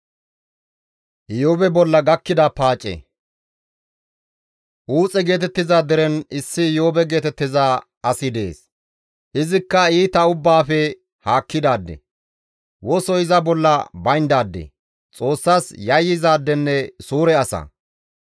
Uuxe geetettiza deren issi Iyoobe geetettiza asi dees. Izikka iita ubbaafe haakkidaade; wosoy iza bolla bayndaade; Xoossas yayyizaadenne suure asa.